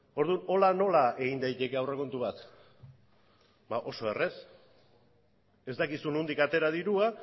orduan hola nola egin daiteke aurrekontu bat ba oso errez ez dakizu nondik atera dirua